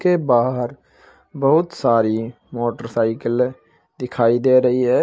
के बाहर बहुत सारी मोटरसाइकिले दिखाई दे रही है।